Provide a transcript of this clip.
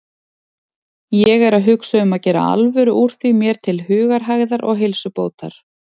Ég er að hugsa um að gera alvöru úr því mér til hugarhægðar og heilsubótar.